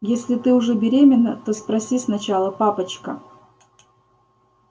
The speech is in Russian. если ты уже беременна то спроси сначала папочка